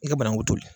I ka banakun toli